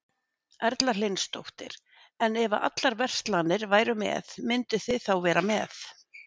Erla Hlynsdóttir: En ef að allar verslanir væru með, mynduð þið þá vera með?